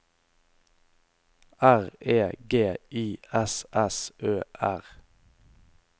R E G I S S Ø R